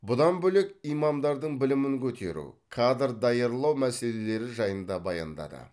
бұдан бөлек имамдардың білімін көтеру кадр даярлау мәселелері жайында баяндады